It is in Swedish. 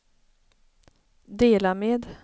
dela med